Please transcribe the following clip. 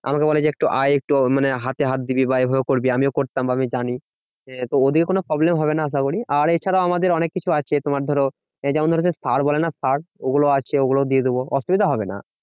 আমাকে বলে যে একটু আয় মানে একটু হাতে হাত দিবি বা এইভাবে করবি। আমিও করতাম আমিও জানি। তো ওদিকে কোনো problem হবে না আশা করি আর এছাড়াও আমাদের অনেককিছু আছে তোমার ধরো, এই যেমন ধরো সেই সার বলে না সার ওগুলো আছে ওগুলো দিয়ে দেব, অসুবিধা হবে না।